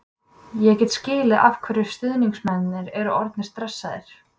Ég get skilið af hverju stuðningsmennirnir eru orðnir stressaðir.